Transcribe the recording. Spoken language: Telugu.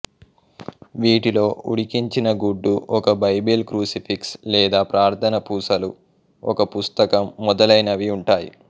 వీటిలో ఉడికించిన గుడ్డు ఒక బైబిల్ క్రుసిఫిక్స్ లేదా ప్రార్థన పూసలు ఒక పుస్తకం మొదలైనవి ఉంటాయి